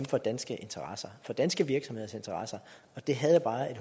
for danske interesser for danske virksomheders interesser jeg havde bare